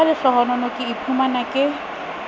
ka lehlohonolo ka iphumana ke